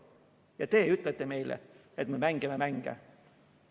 Ja te ütlete meile, et me mängime mänge.